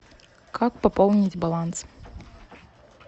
как пополнить баланс